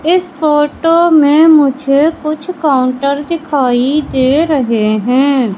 इस फोटो में मुझे कुछ काउंटर दिखाई दे रहे हैं।